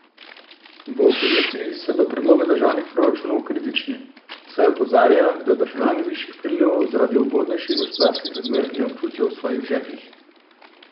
V opoziciji so do predloga državnih proračunov kritični, saj opozarjajo, da državljani višjih prilivov zaradi ugodnejših gospodarskih razmer ne občutijo v svojih žepih.